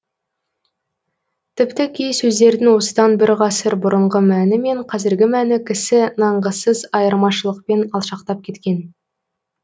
тіпті кей сөздердің осыдан бір ғасыр бұрынғы мәні мен қазіргі мәні кісі нанғысыз айырмашылықпен алшақтап кеткен